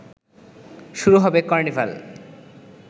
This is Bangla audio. শুরু হবে কর্নিভাল